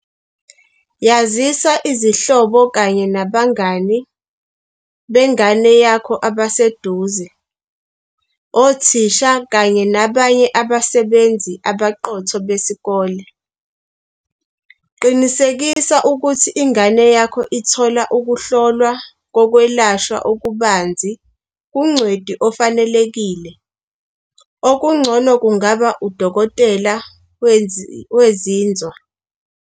Yazisa izihlobo kanye nabangani bengane yakho abaseduze, othisha kanye nabanye abasebenzi abaqotho besikolo. Qinisekisa ukuthi ingane yakho ithola ukuhlolwa kokwelashwa okubanzi kungcweti ofanelekile, okungcono kungaba udokotela wezinzwa.